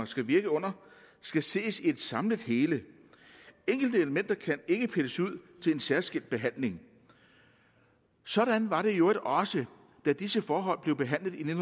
skal virke under skal ses i et samlet hele enkelte elementer kan ikke pilles ud til en særskilt behandling sådan var det i øvrigt også da disse forhold blev behandlet i